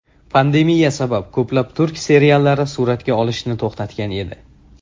Pandemiya sabab ko‘plab turk seriallari suratga olishni to‘xtatgan edi.